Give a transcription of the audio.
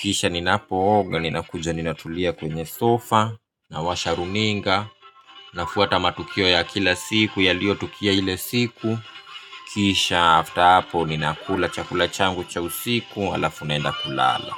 Kisha ninapo oga, ninakuja ninatulia kwenye sofa, nawasha runinga. Nafuata matukio ya kila siku yalio tokea ile siku. Kisha after apo ninakula chakula changu cha usiku alafu naenda kulala.